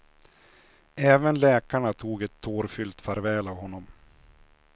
Även läkarna tog ett tårfyllt farväl av honom.